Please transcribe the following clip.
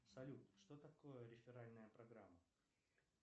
салют что такое реферальная программа